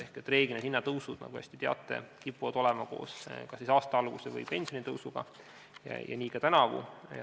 Üldiselt kipuvad hinnatõusud, nagu te teate, koos käima kas aasta algusega või pensionitõusuga, nii ka tänavu.